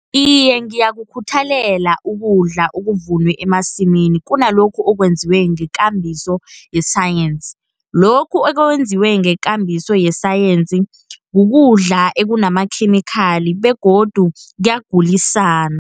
Iye ngiyakukhuthalela ukudla okuvunwe emasimini, kunalokhu okwenziwe ngekambiso yesayensi. Lokhu okwenziwe ngekambiso yesayensi, kukudla ekunamakhemikhali begodu kuyagulisana.